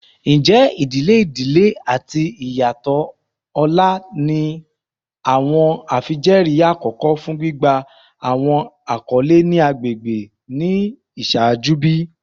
Njẹ idile idile ati iyatọ ọlá ni awọn afijẹẹri akọkọ fun gbigba awọn akọle ni agbegbe ni iṣaaju bi?